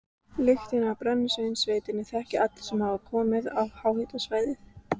Lyktina af brennisteinsvetni þekkja allir sem komið hafa á háhitasvæði.